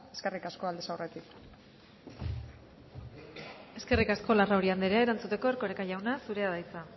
eskerrik asko aldez aurretik eskerrik asko larrauri andrea erantzuteko erkoreka jauna zurea da hitza